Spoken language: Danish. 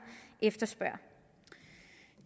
efterspørger